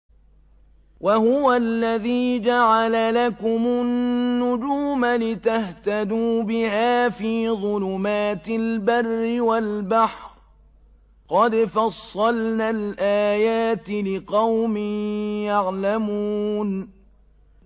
وَهُوَ الَّذِي جَعَلَ لَكُمُ النُّجُومَ لِتَهْتَدُوا بِهَا فِي ظُلُمَاتِ الْبَرِّ وَالْبَحْرِ ۗ قَدْ فَصَّلْنَا الْآيَاتِ لِقَوْمٍ يَعْلَمُونَ